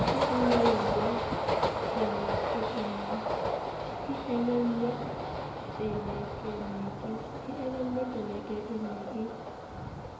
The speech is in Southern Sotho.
e elellwe peleke ne ke